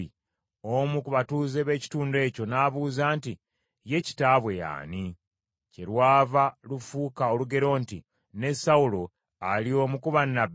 Omu ku batuuze b’ekitundu ekyo n’abuuza nti, “Ye kitaabwe y’ani?” Kyerwava lufuuka olugero nti, “Ne Sawulo ali omu ku bannabbi?”